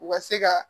U ka se ka